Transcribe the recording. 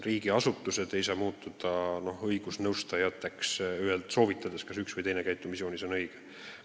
Riigiasutused ei saa muutuda õigusnõustajateks, soovitades, kas üks või teine käitumisjoonis on õige või mitte.